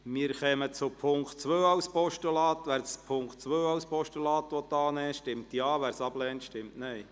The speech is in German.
Wer die Ziffer 2 als Postulat annehmen will, stimmt Ja, wer diese ablehnt, stimmt Nein.